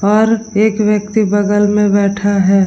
और एक व्यक्ति बगल में बैठा है।